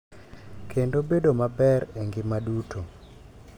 Kendo bedo maber e ngima duto.